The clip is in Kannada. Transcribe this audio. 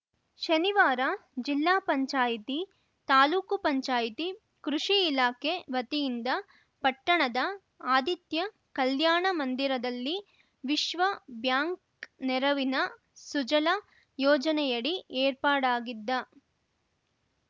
ಶನಿವಾರ ಜಿಲ್ಲಾ ಪಂಚಾಯಿತಿ ತಾಲೂಕು ಪಂಚಾಯಿತಿ ಕೃಷಿ ಇಲಾಖೆ ವತಿಯಿಂದ ಪಟ್ಟಣದ ಆದಿತ್ಯ ಕಲ್ಯಾಣ ಮಂದಿರದಲ್ಲಿ ವಿಶ್ವ ಬ್ಯಾಂಕ್‌ ನೆರವಿನ ಸುಜಲಾ ಯೋಜನೆಯಡಿ ಏರ್ಪಾಡಾಗಿದ್ದ